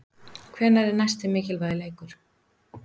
Hvenær er næsti mikilvægi leikur?